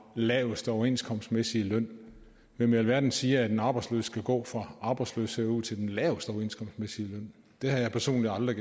laveste overenskomstmæssige løn hvem i alverden siger at en arbejdsløs skal gå fra arbejdsløshed og ud til den laveste overenskomstmæssige løn det har jeg personligt aldrig